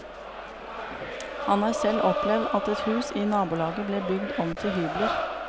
Han har selv opplevd at en hus i nabolaget ble bygd om til hybler.